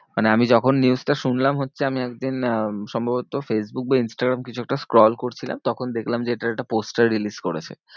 মানে আমি যখন news টা শুনলাম হচ্ছে। আমি একদিন আহ সম্ভবত ফেইসবুক বা ইনস্টাগ্রাম কিছু একটা scroll করছিলাম, তখন দেখলাম যে এটার একটা poster release করেছে।